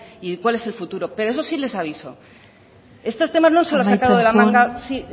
y de cuál es el futuro pero eso sí les aviso esto temas no se los han sacado de la manga amaitzen joan sí